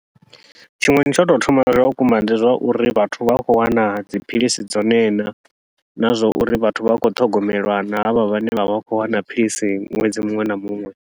Tshiṅwe ndi tsha u tou thoma zwa vhukuma, ndi zwa uri vhathu vha khou wana dziphilisi dzone na, na zwa uri vhathu vha khou ṱhogomelwa na havha vhane vha vha khou wana philisi ṅwedzi muṅwe na muṅwe.